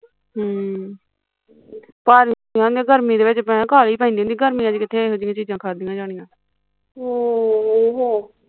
ਹਮ ਪਰ ਘਰ ਗਰਮੀ ਚ ਤੇ ਕਾਹਲ ਹਿ ਪੈਂਦੀ ਹੁੰਦੀ ਗਰਮੀਆਂ ਚ ਕਿੱਥੇ ਇਹੋ ਜਹੀਆ ਚੀਜ਼ਾਂ ਖਾਧੀਆ ਜਾਣਿਆ